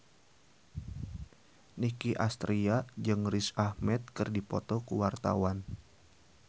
Nicky Astria jeung Riz Ahmed keur dipoto ku wartawan